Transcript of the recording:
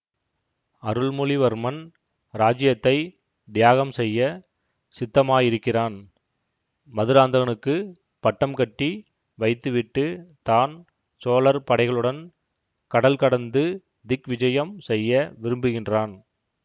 அருள்மொழிவர்மன் இராஜ்யத்தை தியாகம் செய்ய சித்தமாயிருக்கிறான் மதுராந்தகனுக்குப் பட்டம் கட்டி வைத்து விட்டு தான் சோழர் படைகளுடன் கடல் கடந்து திக்விஜயம் செய்ய விரும்புகின்றான்